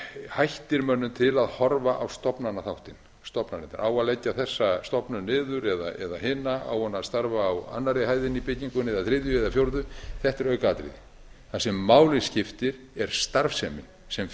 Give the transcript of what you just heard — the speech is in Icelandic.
hættir mönnum til að horfa á stofnanaþáttinn stofnanirnar á að leggja þessa stofnun niður eða hina á hún að starfa á annarri hæðinni í byggingunni eða þriðju eða fjórðu þetta er aukaatriði það se máli skiptir er starfsemin sem